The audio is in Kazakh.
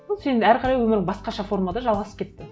ол сенің әрі қарай өмірің басқаша формада жалғасып кетті